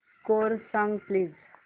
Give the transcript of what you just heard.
score सांग please